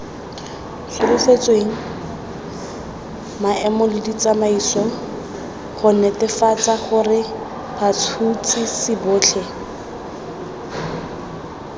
solofetsweng maemoleditsamaiso gonetefatsagorebats huts hisibotlheba